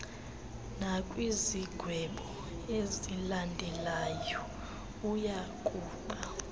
nakwizigwebo ezilandelelanayo uyakuba